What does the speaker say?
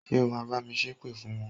Ṣé o ma bá mi ṣépè fún wọn?